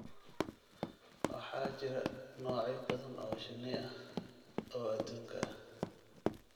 Waxaa jira noocyo badan oo shinni ah oo adduunka ah.